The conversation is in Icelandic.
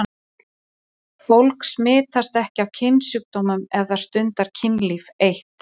Fólk smitast ekki af kynsjúkdómum ef það stundar kynlíf eitt.